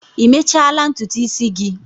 Ị mechala ntutu isi gị?